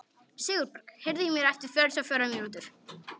Sigurberg, heyrðu í mér eftir fjörutíu og fjórar mínútur.